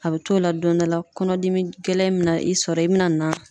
A bɛ t'o la don dɔ la kɔnɔdimi gɛlɛn mɛna i sɔrɔ i bɛna na